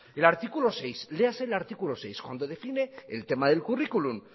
el artículo seis léase el artículo seis cuando define el tema del currículum